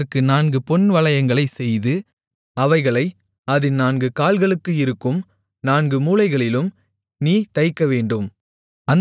அதற்கு நான்கு பொன்வளையங்களைச் செய்து அவைகளை அதின் நான்கு கால்களுக்கு இருக்கும் நான்கு மூலைகளிலும் நீ தைக்கவேண்டும்